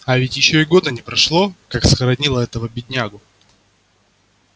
а ведь ещё и года не прошло как схоронила этого беднягу